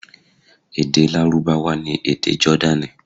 Èdè Lárúbáwá ni èdè Jọ́dánì.